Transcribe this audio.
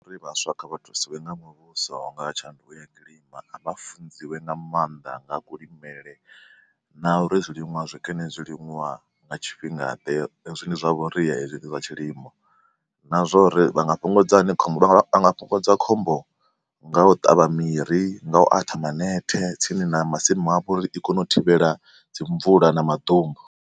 Ri vhaswa kha vha thusiwe nga muvhuso nga tshanduko ya kilima a vha funziwe nga maanḓa nga kulimele na uri zwiliṅwa zwikene zwiliṅwa nga tshifhinga ḓe, zwine zwa vha uri hezwi zwa tshilimo na zwa uri vha nga fhungudza hani khombo vha nga fhungudza khombo nga u ṱavha miri, nga u atha manethe tsini na masimu afho uri i kone u thivhela dzi mvula na maḓumbu.